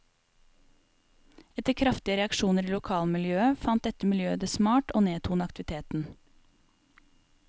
Etter kraftige reaksjoner i lokalmiljøet fant dette miljøet det smart og nedtone aktiviteten.